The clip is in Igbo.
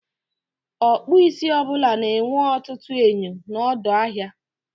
Ọkpụisi ọbụla na-enwe ọtụtụ enyo n'ọdọ ahịa.